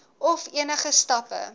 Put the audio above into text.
of enige stappe